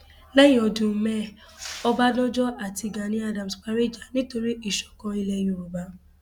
lẹyìn ọdún mẹẹẹ ọbadànjọ àti gani adams parí ìjà nítorí ìṣọkan ilẹ yorùbá